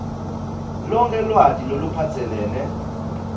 lonkhe lwati loluphatselene